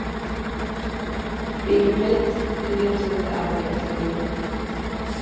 Yfirleitt létum við aðra í friði.